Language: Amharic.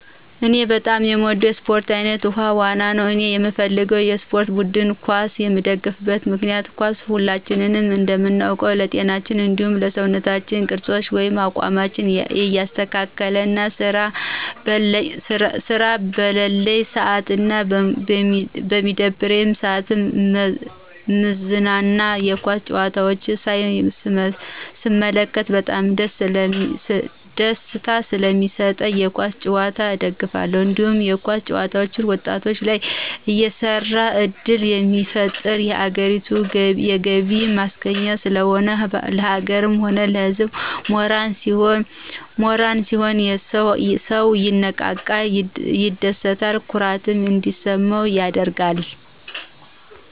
እኔ በጣም የምወደው የስፖርት አይነት ውሀ ዋና ነው እኔየምደግፈው የስፖርት ቡድን ኳስ ነው የምደግፍበት ምክንያት ኳስ ሁላችንም እንደምናውቀው ለጤናችን እንዲሁም ለሰውነት ቅርፃችን ወይም አቋማችን ያስተካክልልናል ስራ በለለኝ ስአትና በሚደብረኝ ስአት ምዝናና የኳስ ጨዋታዎችን ሳይ ስመለከት በጣም ደስታ ሰለሚስጠኝ የኳስ ጭዋታን እደግፋለሁ። እንዲሁም የኳስ ተጨዋቾች ወጣቶች ላይ የስራ እድል ስለሚፈጥር የሀገሪቱ የገቢ ማስገኛ ስለሆነ፣ ለሀገርም ሆነ ለህዝብ ሞራል ሲሆን ሰው ይነቃቃል፣ ይደስታ፣ ኩራት እንዲሰማው ያደርጋል።